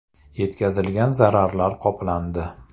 Yetkazilgan zararlar qoplandi.